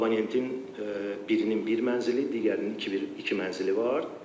Abonentinin birinin bir mənzili, digərinin iki mənzili var.